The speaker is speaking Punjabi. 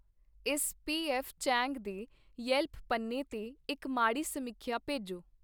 ਇਸ ਪੀਐੱਫ ਚੈਂਗ ਦੇ ਯੈਲਪ ਪੰਨੇ 'ਤੇ ਇੱਕ ਮਾੜੀ ਸਮੀਖਿਆ ਭੇਜੋ